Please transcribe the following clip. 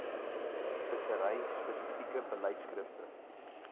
vissery spesifieke beleidskrifte